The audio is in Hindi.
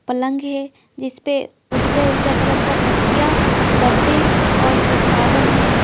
पलंग है जिस पे उजले-उजले कलर का तकिया गद्धे और विछावन है।